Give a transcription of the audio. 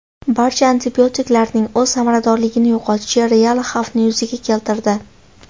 Barcha antibiotiklarning o‘z samaradorligini yo‘qotishi real xavfni yuzaga keltirdi.